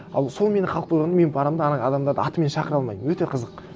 ал сол менде қалып қойған мен барамын да ана адамдарды атымен шақыра алмаймын өте қызық